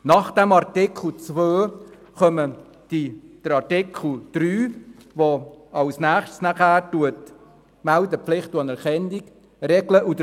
Auf Artikel 2 folgt Artikel 3, der die Meldepflicht und die Anerkennung regelt.